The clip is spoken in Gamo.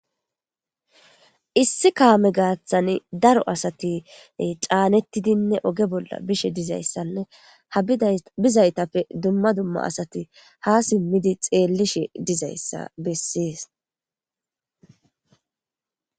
Issi kaame gathani daro asathi caaneththidinne oge bolla bishe dizayssanne ha biday biza ethape dumma dumma asathi haa simmidi xeellishe dizayssa bessees.